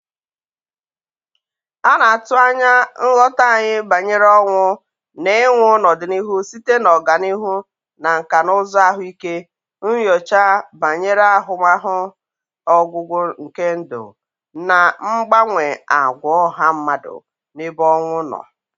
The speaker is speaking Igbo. A na-atụ anya nghọta anyị banyere ọnwụ na ịnwụ n'ọdịnihu site na ọganihu na nkà na ụzụ ahụike, nyocha banyere ahụmahụ ọgwụgwụ nke ndụ, na mgbanwe àgwà ọha mmadụ n'ebe ọnwụ nọ